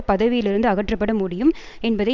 பதவியிலிருந்து அகற்றப்பட முடியும் என்பதை